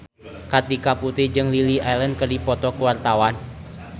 Kartika Putri jeung Lily Allen keur dipoto ku wartawan